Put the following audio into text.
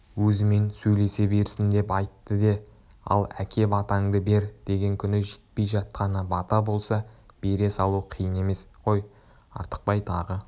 өзімен сөйлесе берсін деп айтты де ал әке батаңды бер деген күні жетпей жатқаны бата болса бере салу қиын емес қой артықбай тағы